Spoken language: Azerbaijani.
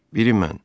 Biri mən.